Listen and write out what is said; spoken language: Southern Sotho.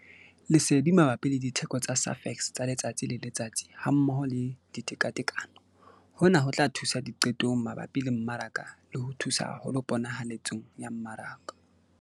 Lesedi mabapi le ditheko tsa Safex tsa letsatsi le letsatsi hammoho le ditekatekano- Hona ho tla thusa diqetong mabapi le mmaraka le ho thusa haholo ponahaletsong ya mmaraka.